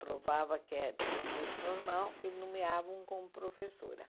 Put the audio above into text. Provava que eh tinha um curso normal, eles nomeavam como professora.